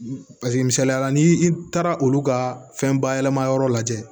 Paseke misaliya la ni i taara olu ka fɛn bayɛlɛma yɔrɔ lajɛ